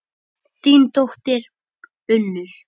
Þín dóttir, Unnur.